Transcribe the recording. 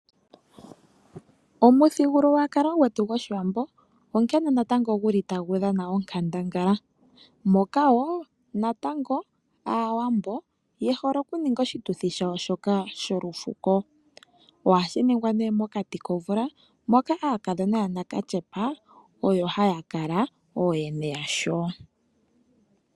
Omuthigululwakalo gwetu woshiwambo onkene ngaa natango tagu dhana onkandangala moka wo natango aawambo ye hole kuninga oshituthi shawo shoka sholufuko shono hashi ningwa nee mokati komvula moka aakadhona yanakatyepa oyo haya kala ooyene yasho.